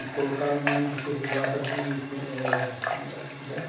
E colocaram o nome do cê cê jota de eh... Como é?